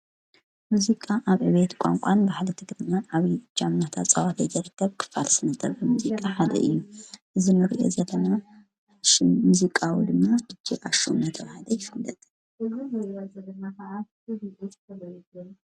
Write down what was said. ሙዚቃ ኣብ ዕቤት ቛንቋን ባህሊ ቲ ግድና ዓብዪ እጃም ናተፀወተ ይረከብ ክፋል ስነጥበብ ሙዚቃ ሓደ እዩ ዝኑርየ ዘለና ሽ ሙዙቃዊ ድማ ድጄ ኣሹ ናተብሃለ ኣይፍበጥ ዘለማ ኸዓስተበል።